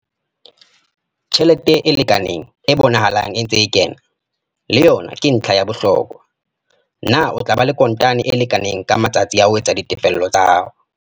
Tjhelete e lekaneng e bonahalang e ntse e kena, le yona ke ntlha ya bohlokwa - na o tla ba le kontane e lekaneng ka matsatsi a ho etsa ditefello tsa hao.